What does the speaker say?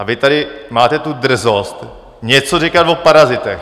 A vy tady máte tu drzost něco říkat o parazitech.